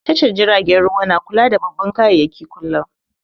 Tashar jiragen ruwa na kula da babban kayayyaki kullum